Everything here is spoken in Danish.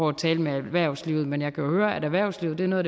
at tale med erhvervslivet men jeg kan jo høre at erhvervslivet er noget